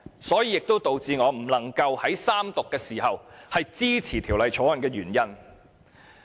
這也是導致我不能在三讀時支持《條例草案》的原因。